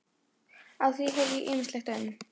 Á því heyrði ég ýmislegt um